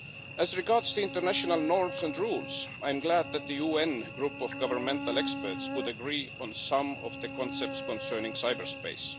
As regards international norms and rules, I am glad that the UN Group of Governmental Experts would agree on some of the concepts concerning cyberspace.